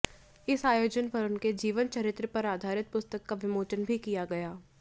इस आयोजन पर उनके जीवन चरित्र पर आधारित पुस्तक का विमोचन भी किया गया